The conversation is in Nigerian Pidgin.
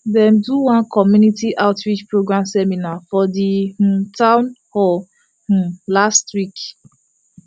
dem do one community outreach program seminar for the um town hall um last week